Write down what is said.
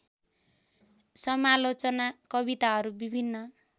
समालोचना कविताहरू विभिन्न